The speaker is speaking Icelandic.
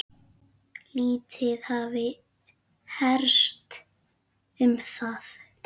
Lítið hafi heyrst um það.